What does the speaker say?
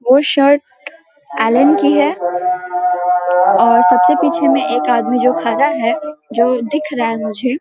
वो shirt Allen की है और सबसे पीछे में एक आदमी जो खड़ा है जो दिख रहा है मुझे --